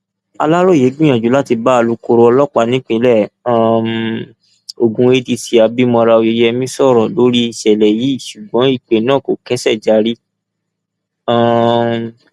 aláròye gbìyànjú láti bá alūkkóró ọlọpàá nípìnlẹ um ogun adc abimora oyeyèmí sọrọ lórí ìṣẹlẹ yìí ṣùgbọn ìpè náà kò kẹṣẹjárí um